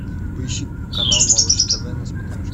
поищи канал малыш тв на смотрешке